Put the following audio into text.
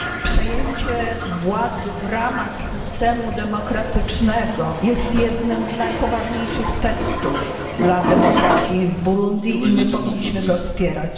Przejęcie władzy w ramach systemu demokratycznego jest jednym z najpoważniejszych testów dla demokracji w Burundi i powinniśmy je wspierać.